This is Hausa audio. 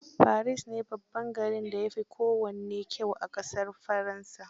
Paris ne babban garin da ya fi kowanne kyau a ƙasar Faransa